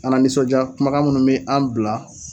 An nanisɔndiya kumakan minnu mɛ an bila